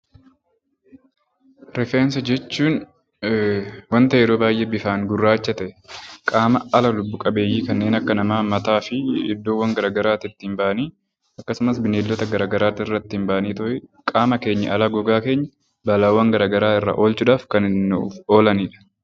Rifeensa jechuun waanta yeroo baay'ee bifaan gurraacha ta'e, qaama ala lubbu qabeeyyii kanneen akka namaa mataa fi iddoowwan gara garaatiitti ba'anii akkasumas bineeldota gara garaatitti irratti ba'aniitooyi qaama keenya alaa gogaa keenya balaawwan gara garaa irraa oolchuudhaaf kan nuuf oolanidha.